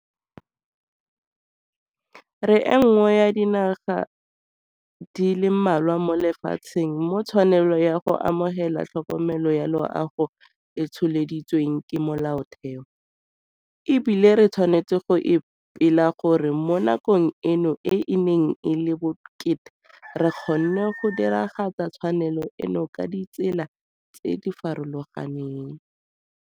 Re e nngwe ya dinaga di le mmalwa mo lefatsheng mo tshwanelo ya go amogela tlhokomelo ya loago e tsholeditsweng ke Molaotheo, e bile re tshwanetse go ipela gore mo nakong eno e e neng e le bokete re kgonne go diragatsa tshwanelo eno ka ditsela tse di farologaneng.